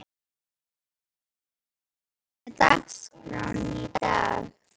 Pálmar, hvernig er dagskráin í dag?